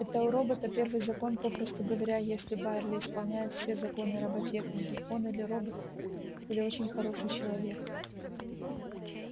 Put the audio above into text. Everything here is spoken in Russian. это у робота первый закон попросту говоря если байерли исполняет все законы роботехники он или робот или очень хороший человек